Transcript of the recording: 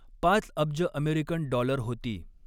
पाच अब्ज American dollar होती.